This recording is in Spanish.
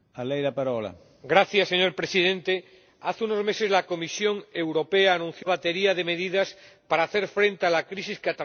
Señor Presidente, hace unos meses la Comisión Europea anunció una batería de medidas para hacer frente a la crisis que atraviesa el sector lácteo.